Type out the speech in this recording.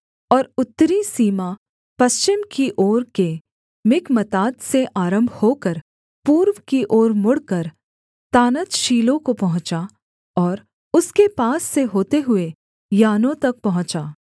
और उत्तरी सीमा पश्चिम की ओर के मिकमतात से आरम्भ होकर पूर्व की ओर मुड़कर तानतशीलो को पहुँचा और उसके पास से होते हुए यानोह तक पहुँचा